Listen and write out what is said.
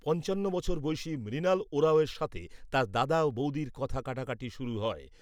পঞ্চান্ন বছর বয়সী মৃণাল ওঁরাওয়ের সাথে তার দাদা ও বৌদির কথা কাটাকাটি শুরু হয়।